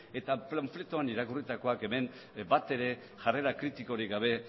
eta panfletoan irakurritakoak hemen batere jarrera kritikorik gabe